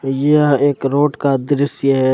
यह एक रोड का दृश्य है।